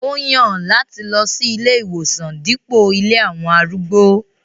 Ó yan lati lọ si ìlé-iwosan dipo ilé awọn arúgbó.